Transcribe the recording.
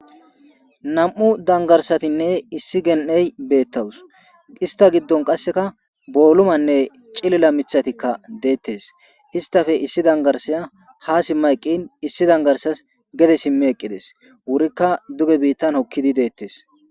Nam'u danggarsatine issi gen'ey bettawusu issita giddon qasseka bollumane ciilila miththaykka dettes issitappe issi dangarssiya ha simma eqqin issi danggarssazi geede simmi eqqides wurokka duuge biittan hookidi de'ettes.